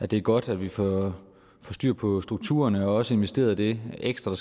det er godt at vi får styr på strukturerne og også får investeret det ekstra